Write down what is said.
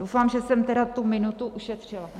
Doufám, že jsem tedy tu minutu ušetřila.